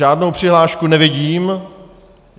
Žádnou přihlášku nevidím.